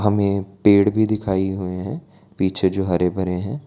में पेड़ भी दिखाई हुए है। पीछे जो हरे-भरे हैं।